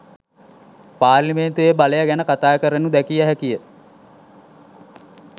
පාර්ලිමේන්තුවේ බලය ගැන කතාකරනු දැකිය හැකි ය